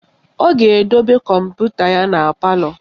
Ọ ga-edobe kọmputa ya na palọ